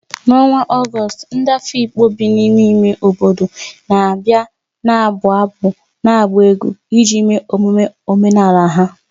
N'ọnwa Ọgọst, ndị Afikpo bi n'ime ime obodo na-abịa na-abụ abụ na ịgba egwu iji mee emume omenala ha.